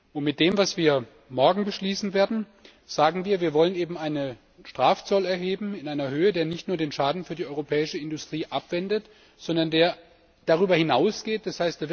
Und mit dem, was wir morgen beschließen werden, sagen wir, wir wollen einen Strafzoll erheben in einer Höhe, die nicht nur den Schaden für die europäische Industrie abwendet, sondern der darüber hinausgeht, d.